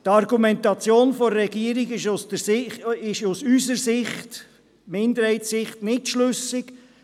Die Argumentation der Regierung ist aus Sicht der Minderheit nicht schlüssig.